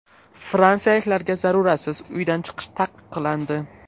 Fransiyaliklarga zaruratsiz uydan chiqish taqiqlandi.